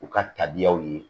U ka tabiyaw ye